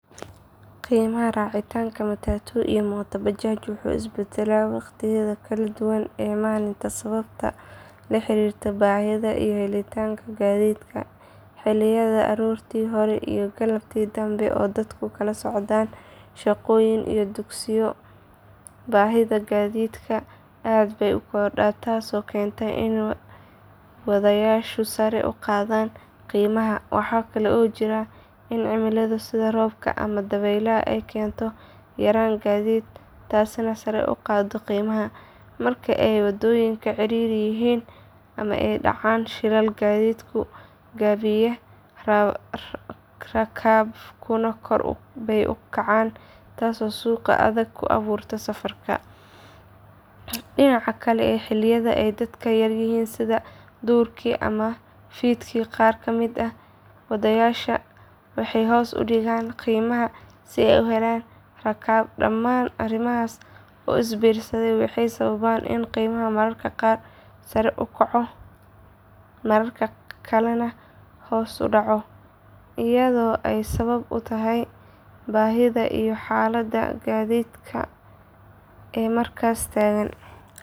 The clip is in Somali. Qiimaha raacitaanka matatu iyo mooto bajaaj wuxuu isbedelaa waqtiyada kala duwan ee maalinta sababo la xiriira baahida iyo helitaanka gaadiidka. Xilliyada aroortii hore iyo galabtii dambe oo dadku u kala socdaalaan shaqo iyo dugsiyo baahida gaadiidka aad bay u kordhaa taasoo keenta in wadayaashu sare u qaadaan qiimaha. Waxaa kale oo jirta in cimilada sida roobka ama dabaylaha ay keento yaraan gaadiid taasina sare u qaado qiimaha. Marka ay wadooyinka ciriiri yihiin ama ay dhacaan shilal gaadiidku gaabiyaa rakaabkuna kor bay u kacaan taasoo suuq adag ku abuurta safarka. Dhinaca kale xilliyada ay dadka yaryihiin sida duhurkii ama fiidkii qaar ka mid ah wadayaasha waxay hoos u dhigaan qiimaha si ay u helaan rakaab. Dhamaan arrimahaas oo is biirsaday waxay sababaan in qiimaha mararka qaar sare u kaco mararka kalena hoos u dhaco iyadoo ay sabab u tahay baahida iyo xaalada gaadiidka ee markaas taagan.